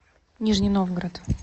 нижний новгород